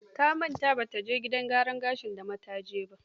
Ta manta ba ta je gidan gyaran gashin da mataji ba.